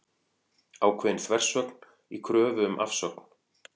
Ákveðin þversögn í kröfu um afsögn